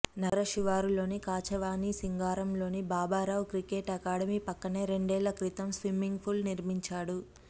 నగర శివారులోని కాచవానిసింగారంలోని బాబారావు క్రికెట్ అకాడమీ పక్కనే రెండేళ్ల క్రితం స్విమ్మింగ్ పూల్ నిర్మించాడు